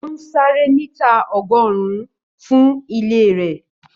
Ó ń sáré mítà ọgọ́rùn-ún fún ilé rẹ̀